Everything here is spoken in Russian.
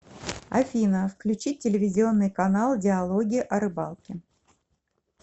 афина включить телевизионный канал диалоги о рыбалке